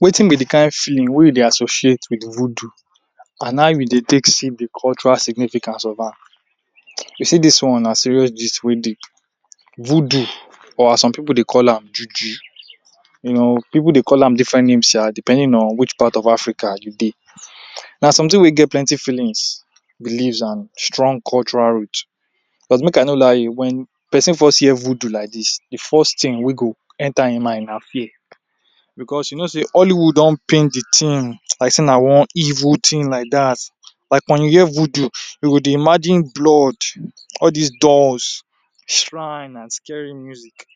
Wetin be de kain feeling wey e dey associate wit voodoo and how e been dey take see de cultural significance of am. You see dis one na serious gist wey dey. Voodoo or as some pipu dey call am - juju, you know pipu dey call am different names shaa depending on which part of Africa you dey. Na something wey get plenty feelings, believes and strong cultural root but make I no lie you, wen person first hear voodoo like dis, de first thing wey go enter im mind na fear. Because you know sey Nollywood don paint de thing like sey na one evil thing like dat. Like when you hear voodoo you go dey imagine blood, all dis dolls, shrine and scary music.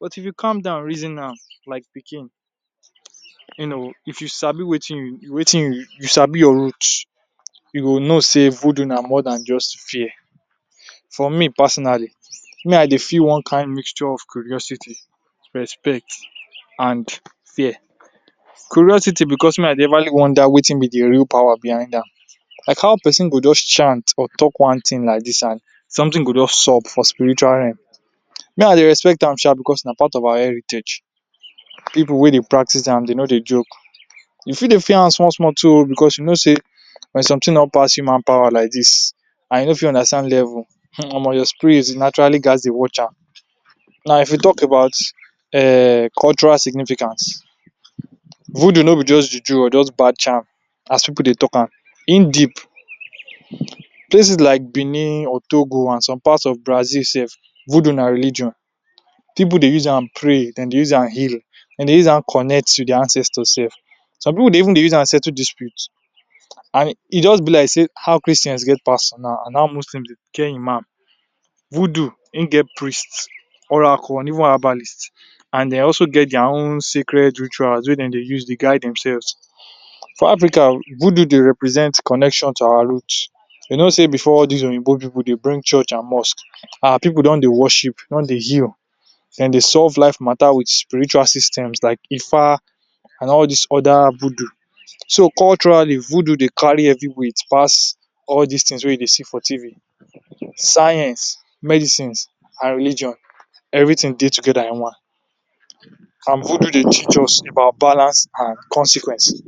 But if you calm down reason am like pikin, you know, if you sabi wetin you, wetin you, you sabi your root, you go know sey voodoo na more dan just fear. For me personally, me I dey feel one kain mixture of curiosity, respect and fear. Curiosity because me I dey everly wonder wetin be de real power behind am. Like how person go just chant or talk one thing like dis and something go just sup for spiritual realm. Me I dey respect am shaa because na part of our heritage, pipu wey dey practice am dey no dey joke. You fit sey fear am small small too oo because you know sey something don pass human power like dis and you no fit understand level. Omo your spirit naturally ghats dey watch am. Now if you talk about um cultural significance, voodoo no be just juju or just bad charm as pipu dey talk am, im deep. Places like Benin or Togo and some parts of Brazil sef, voodoo na religion. Pipu dey use am pray, dem dey use am heal, dem dey use am connect wit their ancestors sef. Some pipu dey even dey use am settle dispute and e just be like sey how Christian get pastor niw and how Muslim get Imam. Voodoo, im get priest, Oracle and even herbalist and they also get their own sacred rituals wey dem dey use dey guide themselves. For Africa, voodoo dey represent connection to our root. You know sey before dis oyibo pipu dey bring Church and mosque, our pipu don dey worship don dey heal. Dem dey solve life matter wit spiritual systems like Ifa and all dis other voodoo. So culturally voodoo dey carry heavyweight pass all dis things wey you dey see for TV. Science, medicine and religion; everything dey together in one. And voodoo dey teach us about balance and consequence.